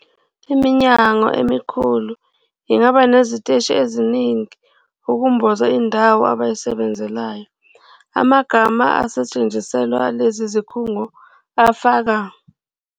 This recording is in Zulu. Iminyango emikhulu ingaba neziteshi eziningi ukumboza indawo abayisebenzelayo. Amagama asetshenziselwa lezi zikhungo afaka.